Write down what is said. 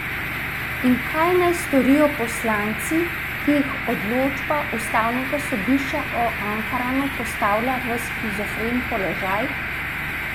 In kaj naj storijo poslanci, ki jih odločba ustavnega sodišča o Ankaranu postavlja v shizofren položaj?